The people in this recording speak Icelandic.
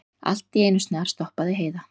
Allt í einu snarstoppaði Heiða.